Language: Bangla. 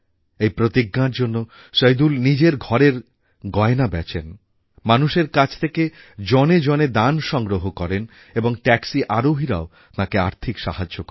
এই প্রতিজ্ঞার জন্য সইদুল নিজের ঘরের গয়না বেচেন মানুষের কাছ থেকে জনে জনে দান সংগ্রহ করেন এবং ট্যাক্সি আরোহীরাও তাঁকে আর্থিক সাহায্য করেন